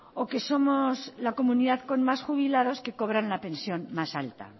o que somos la comunidad con más jubilados que cobran la pensión más alta